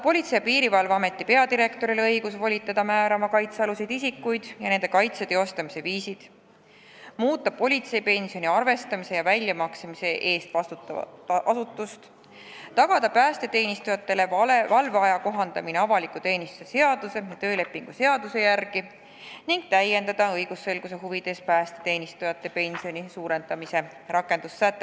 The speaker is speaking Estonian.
Politsei- ja Piirivalveameti peadirektorile tahetakse anda õigus volitada määrama kaitsealused isikud ja nende kaitse teostamise viisid, samuti tahetakse muuta politseipensioni arvestamise ja väljamaksmise eest vastutavat asutust, tagada päästeteenistujatele valveaja kohaldamine avaliku teenistuse seaduse ja töölepingu seaduse järgi ning täiendada õigusselguse huvides päästeteenistujate pensioni suurendamise rakendussätet.